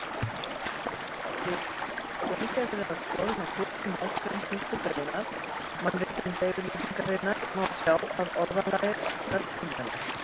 Við gaumgæfilega skoðun á fyrstu málsgrein fyrstu greinar Mannréttindayfirlýsingarinnar má sjá að orðalagið orkar tvímælis.